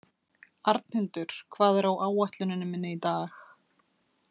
Arnhildur, hvað er á áætluninni minni í dag?